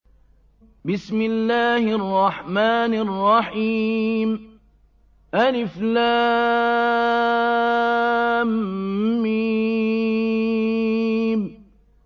الم